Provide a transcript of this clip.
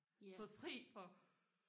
fået fri for